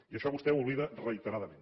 i això vostè ho oblida reiteradament